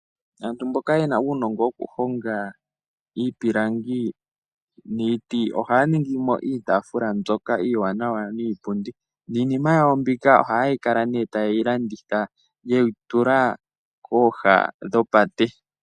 Aantu mboka yena uunongo woku honga iipilangi niiti ohaya ningi mo iitaafula mbyoka iiwanawa niipundi Niinima yawo mbika ohaya kala nee ta yeyi landitha yeyi tula kooha dhopate